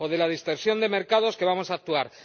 O de la dispersión de mercados, que vamos a actuar.